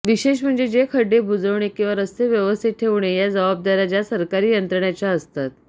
विशेष म्हणजे जे खड्डे बुजवणे किंवा रस्ते व्यवस्थित ठेवणे या जबाबदार्या ज्या सरकारी यंत्रणांच्या असतात